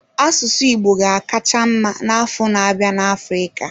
Asụsụ Igbo ga-akacha mma n'afọ na-abịa na Africa.